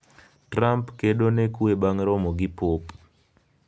Trump "kedo ne kwe" bang' romo gi Pop